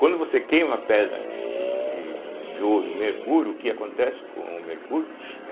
Quando você queima a pedra de de de ouro e mercúrio, o que acontece com o mercúrio? (som de chiado com os lábios)